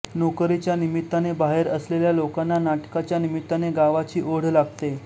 नोकरीच्या निमित्ताने बाहेर असलेल्या लोकांना नाटकांच्या निमित्ताने गावाची ओढ लागते